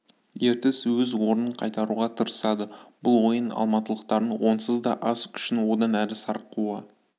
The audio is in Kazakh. ертіс өз орнын қайтаруға тырысады бұл ойын алматылықтардың онсыз да аз күшін одан әрі сарқуы